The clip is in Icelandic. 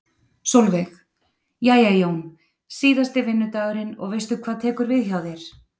Sólveig: Jæja Jón, síðasti vinnudagurinn og veistu hvað tekur við hjá þér?